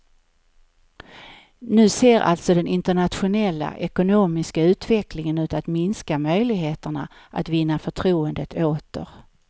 Nu ser alltså den internationella ekonomiska utvecklingen ut att minska möjligheterna att vinna förtroendet åter.